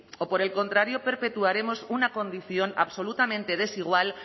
o por el contrario perpetuamos una condición absolutamente desigual